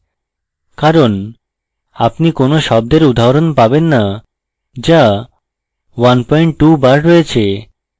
কারণ আপনি কোন শব্দের উদাহরণ পাবেন না যা 12 বার রয়েছে